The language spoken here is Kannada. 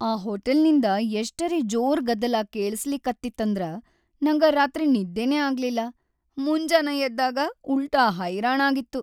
ಆ ಹೋಟೆಲ್ನಿಂದ ಎಷ್ಟರೇ ಜೋರ್‌ ಗದ್ದಲಾ ಕೇಳಸ್ಲಿಕತ್ತಿತ್ತಂದ್ರ ನಂಗ ರಾತ್ರಿ ನಿದ್ದಿನೇ ಆಗ್ಲಿಲ್ಲ, ಮುಂಜಾನ ಎದ್ದಾಗ ಉಲ್ಟಾ ಹೈರಾಣ ಆಗಿತ್ತು.